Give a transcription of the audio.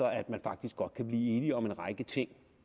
at man faktisk godt kan blive enige om en række ting